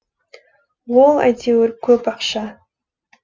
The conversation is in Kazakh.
ол әйтеуір көп ақша